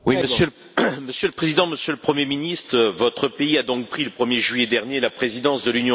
Monsieur le Président, Monsieur le Premier ministre, votre pays a donc pris, le 1er juillet dernier, la présidence de l'Union européenne.